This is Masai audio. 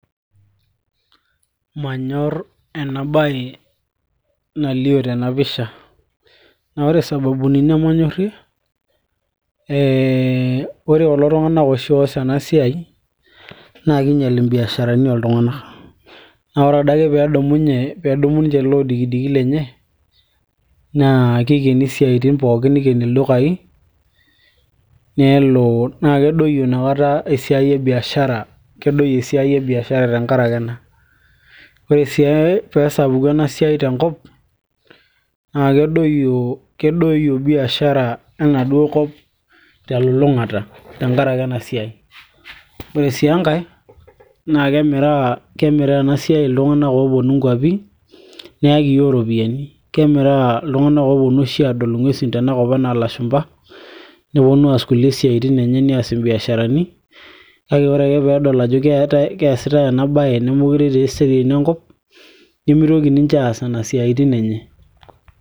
manyorr ena baye nalio tena pisha naa ore isababuni nemanyorrie ee ore kulo tung'anak oshi oos ena siai naa kinyial imbiasharani oltung'anak naa ore adake peedumunye, peedumu ninche ele odikidiki lenye naa kikeni isiaitin pookin nikeni ildukai nelo, naa kedoyio inakata esiai e biashara kedoyio esiai e biashara tenkarake ena ore sii peesapuku ena siai tenkop naa kedoyio biashara enaduo kop telulung'ata tenkarake ena siai ore sii enkay naa kemiraa ena siai iltung'anak ooponu inkuapi neyaki iyiok iropiyiani kemiraa iltung'anak ooponu oshi adol ing'uesi tenakop anaa ilashumpa neponu aas kulie siaitin enye nias imbiasharani kake ore ake peedol ajo keesitay ena baye nemeekure etii eseriani enkop, nemitoki ninche aas nena siaitin enye.